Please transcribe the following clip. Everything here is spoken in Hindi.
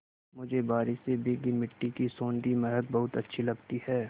मुझे बारिश से भीगी मिट्टी की सौंधी महक बहुत अच्छी लगती है